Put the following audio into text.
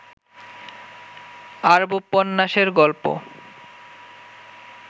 আরব্যোপন্যাসের গল্প